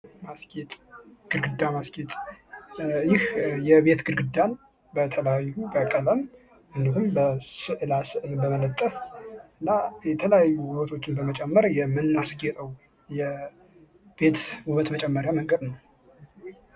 ማስጌጥ ግድግዳን ማስጌጥ የቤት ግርግዳን በተለያዩ በቀለም የተለያዩ ስዕላ ስዕልን በመለጠፍ እና የተለያዩ ውበቶችን በመጨመር የምናስጌጠው የቤቱን ውበት መጨመርያ መንገድ ነው።